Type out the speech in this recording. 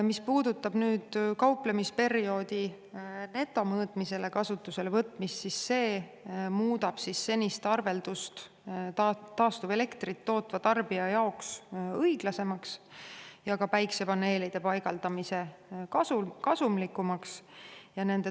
Mis puudutab nüüd kauplemisperioodil netomõõtmise kasutusele võtmist, siis see muudab senist arveldust taastuvelektrit tootva tarbija jaoks õiglasemaks ja ka päikesepaneelide paigaldamise kasumlikumaks.